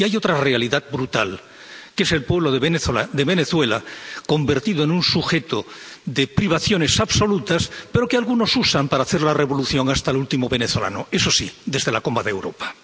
Y hay otra realidad brutal, que es el pueblo de Venezuela, convertido en un sujeto de privaciones absolutas, pero que algunos usan para hacer la revolución hasta el último venezolano, eso sí, desde la cómoda Europa.